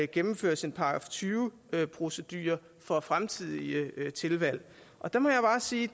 gennemføres en § tyve procedure for fremtidige tilvalg og der må jeg bare sige at